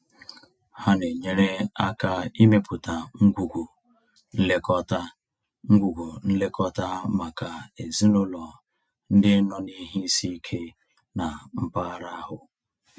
Ha na-enyere aka ịmepụta ngwugwu nlekọta ngwugwu nlekọta maka ezinaụlọ ndị nọ n'ihe isi ike na mpaghara ahụ.